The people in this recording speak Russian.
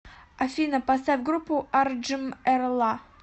афина поставь группу арджимэрла